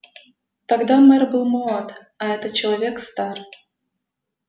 тогда мэр был молод а этот человек стар